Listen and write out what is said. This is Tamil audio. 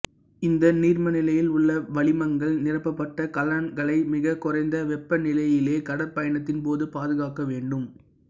இந்த நீர்மநிலையில் உள்ள வளிமங்கள் நிரப்பப்பட்ட கலன்களை மிக குறைந்த வெப்ப நிலையிலேயே கடற்பயணத்தின் போது பாதுகாக்க வேண்டும்